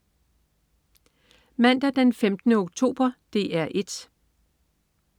Mandag den 15. oktober - DR 1: